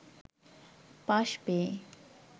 pass পেয়ে